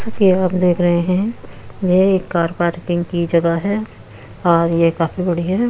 जैसा कि आप देख रहे हैं ये एक कार पार्किंग की जगह है और ये काफी बड़ी है।